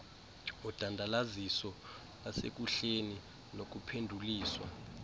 udandalaziso lasekuhleni nokuphenduliswa